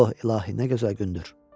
O, İlahi, nə gözəl gündür!